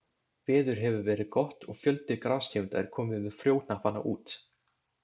Veður hefur verið gott og fjöldi grastegunda er kominn með frjóhnappana út.